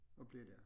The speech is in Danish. Og blive dér